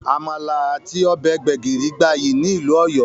Àmàlà àti ọbẹ̀ gbẹ́gìrì gbayyi ni ìlú Ọ̀yọ́